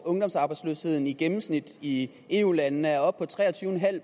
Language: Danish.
at ungdomsarbejdsløsheden i gennemsnit i eu landene er oppe på tre og tyve